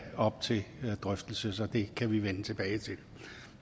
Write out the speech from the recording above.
op til drøftelse så det kan vi vende tilbage til